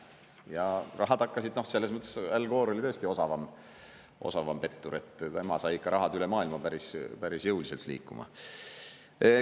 Ja rahad hakkasid, selles mõttes Al Gore oli tõesti osavam pettur, et tema sai ikka rahad üle maailma päris jõuliselt liikuma.